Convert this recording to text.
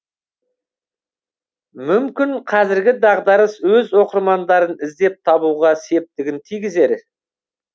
мүмкін қазіргі дағдарыс өз оқырмандарын іздеп табуға септігін тигізер